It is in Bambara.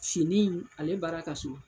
finni in ale baara ka suma.